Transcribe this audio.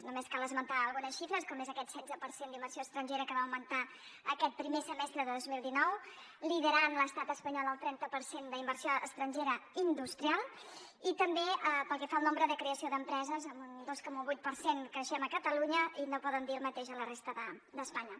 només cal esmentar algunes xifres com aquest setze per cent d’inversió estrangera que va augmentar aquest primer semestre de dos mil dinou lidera l’estat espanyol el trenta per cent d’inversió estrangera industrial i també pel que fa al nombre de creació d’empreses amb un dos coma vuit per cent creixem a catalunya i no poden dir el mateix a la resta d’espanya